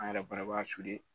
An yɛrɛ fana b'a